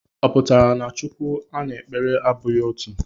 Ọ pụtara na Chukwu a na-ekpere abụghị otu?